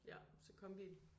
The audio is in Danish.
Ja. Så kombi